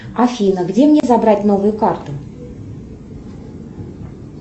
афина где мне забрать новую карту